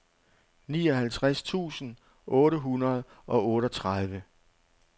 nioghalvtreds tusind otte hundrede og otteogtredive